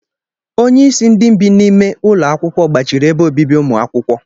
Onye isi ndị bi n'ime ụlọ akwụkwọ gbachiri ebe obibi ụmụ akwụkwọ.